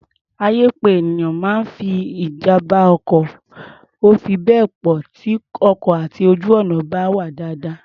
Àyè pé ènìyàn máa ní ijàm̀bá ọkọ̀ ò fi bẹ́ẹ̀ pọ̀ tí ọkọ̀ àti ojú-ọ̀nà bá wà dáadáa.